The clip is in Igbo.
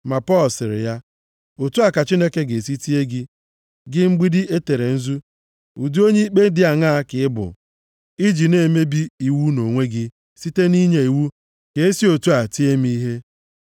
Ma Pọl, sịrị ya, “Otu a ka Chineke ga-esi tie gị, gị mgbidi e tere nzu. Ụdị onye ikpe dị aṅaa ka ị bụ i ji na-emebi iwu nʼonwe gị site nʼinye iwu ka e si otu a tie m ihe?”